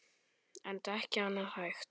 Enda ekki annað hægt.